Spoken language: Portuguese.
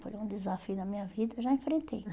Foi um desafio na minha vida, já enfrentei.